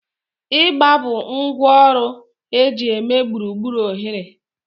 Igba bụ ngwá ọrụ eji eme gburugburu oghere